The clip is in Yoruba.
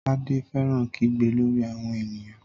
Tade fẹ́ràn kígbe lórí àwọn ènìyàn